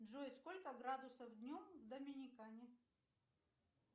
джой сколько градусов днем в доминикане